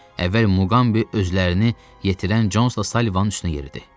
Əvvəl Muqambi özlərini yetirən Consla Salivanın üstünə yeridi.